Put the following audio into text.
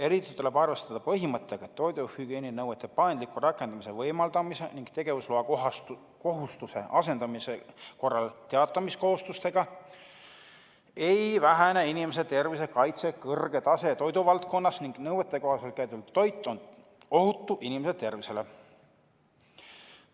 Eriti tuleb arvestada põhimõttega, et toiduhügieeninõuete paindliku rakendamise võimaldamise ning tegevusloakohustuse asendamise korral teatamiskohustustega ei vähene inimeste tervise kaitse kõrge tase toiduvaldkonnas ning nõuetekohaselt käideldud toit on ohutu inimeste tervisele.